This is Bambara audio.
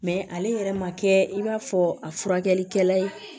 ale yɛrɛ ma kɛ i b'a fɔ a furakɛlikɛla ye